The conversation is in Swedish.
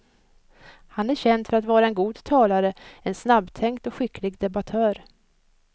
Han är känd för att vara en god talare, en snabbtänkt och skicklig debattör.